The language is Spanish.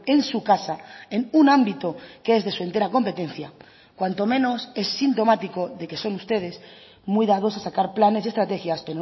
en su casa en un ámbito que es de su entera competencia cuanto menos es sintomático de que son ustedes muy dados a sacar planes y estrategias